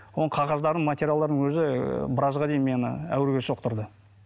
оның қағаздары материалдардың өзі біразға дейін мені әуреге соқтырды